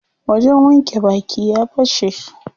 Wajen wanke baki ya fashe.